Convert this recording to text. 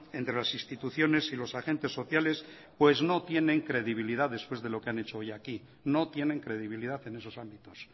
entre las instituciones y los agentes sociales pues no tienen credibilidad después de lo que han hecho hoy aquí no tienen credibilidad en esos ámbitos